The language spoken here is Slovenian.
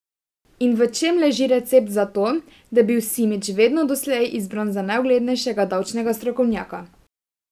In v čem leži recept za to, da je bil Simič vedno doslej izbran za najuglednejšega davčnega strokovnjaka?